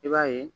I b'a ye